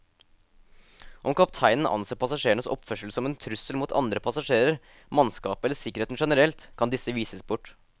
Om kapteinen anser passasjerenes oppførsel som en trussel mot andre passasjerer, mannskapet eller sikkerheten generelt, kan disse vises bort.